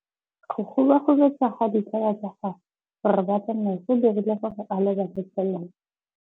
Go gobagobetsa ga ditsala tsa gagwe, gore ba tsamaye go dirile gore a lebale tšhelete.